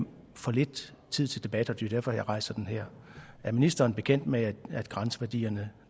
for lidt tid til debat og det er derfor jeg rejser den her er ministeren bekendt med at grænseværdierne